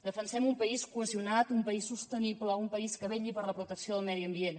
defensem un país cohesionat un país sostenible un país que vetlli per la protecció del medi ambient